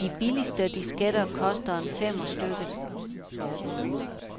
De billigste disketter koster en femmer stykket.